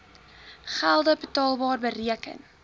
gelde betaalbar bereken